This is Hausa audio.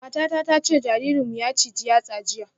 Matata ta ce jaririnmu ya ciji yatsa jiya